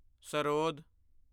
sarod